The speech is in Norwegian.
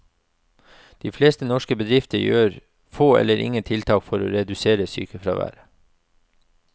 De fleste norske bedrifter gjør få eller ingen tiltak for å redusere sykefraværet.